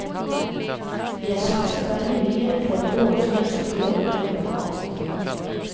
De har satset veldig mye på at vårens lønnsoppgjør blir moderat.